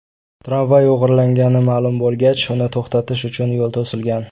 Tramvay o‘g‘irlangani ma’lum bo‘lgach uni to‘xtatish uchun yo‘l to‘silgan.